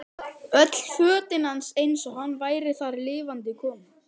Öll fötin hans eins og hann væri þar lifandi kominn.